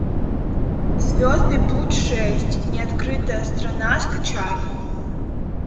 звездный путь шесть неоткрытая страна скачай